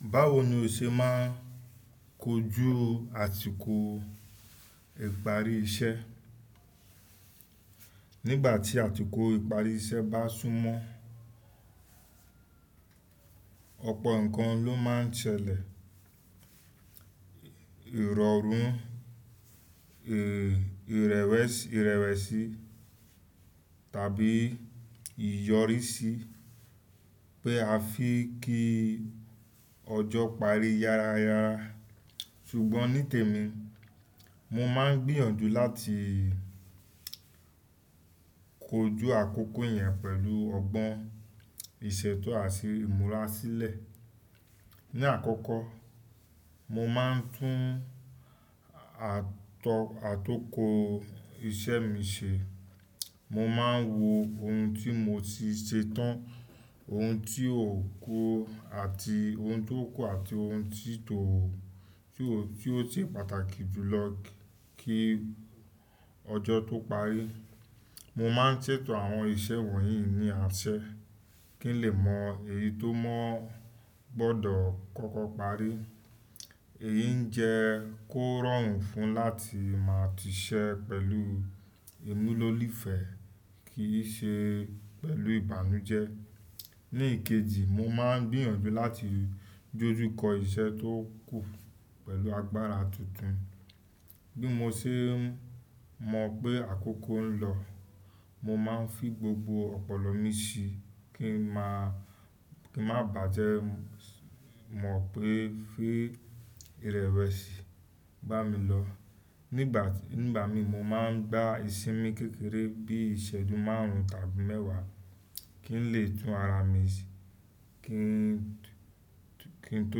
Báwo ni o ṣe máa ń kojú àsìkò ìparí iṣẹ́? Nígbà tí àsìkò ìparí iṣẹ́ bá súnmọ́, ọ̀pọ̀ nǹkan ló máa ń ṣẹlẹ̀. Ìrọ̀rùn, ìrẹ̀wẹ̀si tàbí ìyọrí sí pé a fẹ́ kí ọjọ́ parí yára. Ṣùgbọ́n ní tèmi, mo máa ń gbìyànjú láti kojú àkókò yẹn pẹ̀lú ọgbọ́n, ìṣètọ́ àti ìmúra sílẹ̀. Ni àkọ́kọ́, mo máa ń tún atúnkó iṣẹ́ mi ṣe. Mo máa ń wo ohun tí mo ti ṣe tán, ohun tí ò kú àti ohun tí tó, tí ó ṣe pàtàkì jùlọ kí ọjọ́ tó parí. Mo máa ń ṣètò àwọn iṣẹ́ wọ̀nyí ní àṣẹ kí n lè mọ èyí tó mọ́ gbọ́dọ̀ kọ́kọ́ parí. Èyí ń jẹ kó rọrùn fún mi láti máa ti ṣẹ́ pẹ̀lú ìmúlò lífẹ̀ kì í ṣe pẹ̀lú ìbànújẹ́. Ní ìkejì, mo máa ń gbìyànjú láti dójù kó iṣẹ́ tó kù pẹ̀lú agbára tuntun. Bí mo ṣe mọ̀ pé àkókò ń lọ, mo máa ń fi gbogbo ọ̀pọ̀lọ́ mi sí i kí ń má bàjẹ́ mọ̀ pé fi ìrẹ̀wẹ̀sì bá mi lọ. Nígbà mí mo máa ń gbá iṣinmi kékeré bí i iṣẹ́jú márùn-ún tàbí mẹ́wàá kí n lè tún ara mi ṣe kí n tó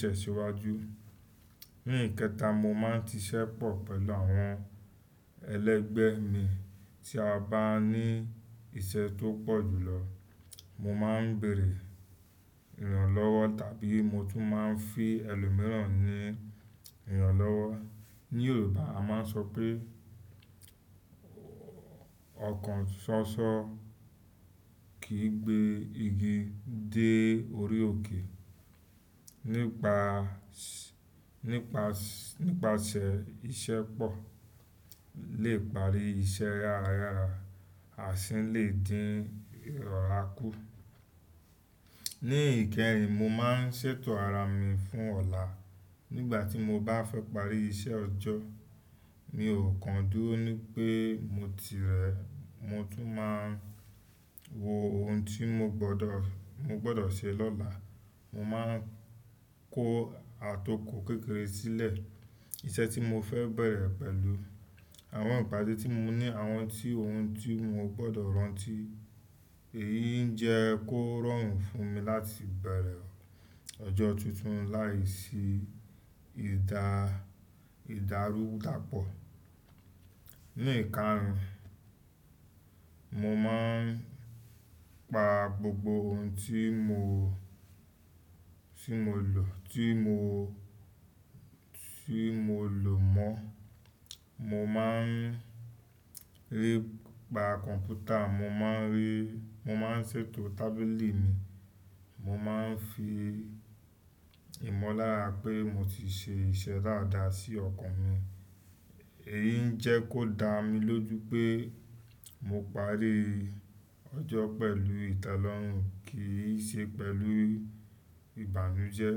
tẹ̀ síwájú. Ní ìkẹta, mo máa ń ti ṣẹ́ pọ̀ pẹ̀lú àwọn ẹlẹ́gbẹ́ mi. Tí a bá ní iṣẹ́ tó pọ̀ jùlọ, mo máa ń bèèrè ìrànlọ́wọ́ tàbí mo tún máa ń fi ẹlòmíràn ní ìrànlọ́wọ́. Ní Yorùbá a máa ń sọ pé ọkàn ṣọṣọ kìí gbé igi dé orí òkè. Nípasẹ̀ iṣẹ́pọ̀ lè parí iṣẹ́ yára yára o ṣi lè dín ìrọ̀rá kú. Ní ìkẹhìn, mo máa ń ṣètò ara mi fún ọ̀la. Nígbà tí mo bá fẹ́ parí iṣẹ́ ọjọ́, mi ò kan dúró ní pé mo ti rẹ̀. Mo tún máa ń wo ohun tí mo gbọ́dọ̀ ṣe lọ́la. Mo máa ń kó àtòkò kékeré sílẹ̀, iṣẹ́ tí mo fẹ́ bẹ̀rẹ̀ pẹ̀lú àwọn ìpádé tí mo ní àwọn ti ohun tí mo gbọ́dọ̀ rántí. Èyí ń jẹ kó rọrùn fún mi láti bẹ̀rẹ̀ ọjọ́ tuntun láìsí ìdárúdàpọ̀. Ní ìkarun, mo máa ń pa gbogbo ohun tí mo, tí mo lò mọ́. Mo máa ń rí pa kọ̀ǹpútà, mo máa ń ṣètò tábìlì mi. Mo máa ń fi ìmọ̀lára pé mo ti ṣe iṣẹ́ dáadáa sí ọkàn mi. Èyí ń jẹ́ kó dá mi lójú pé mo parí ọjọ́ pẹ̀lú ìtẹ́lọ́rùn kì í ṣe pẹ̀lú ìbànújẹ́.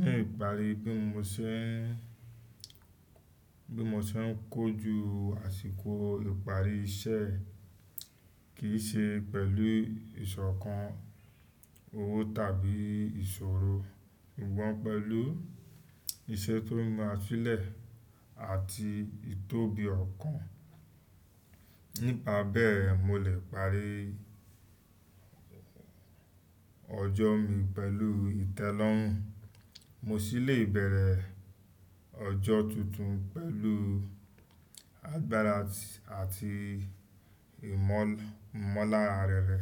Ní ìparí, bí mo ṣe ń kọjú àsìkò ìparí iṣẹ́ kì í ṣe pẹ̀lú ìṣọ̀kan, owó tàbí ìṣòro. Wọ́n pẹ̀lú iṣẹ́ tó ma sílẹ̀ àti ìtóbi ọkàn. Nípa bẹ́ẹ̀ mo lè parí ọjọ́ mi pẹ̀lú ìtẹ́lọ́rùn, mo sì lè bẹ̀rẹ̀ ọjọ́ tuntun pẹ̀lú agbára àti ìmọ̀lára rere.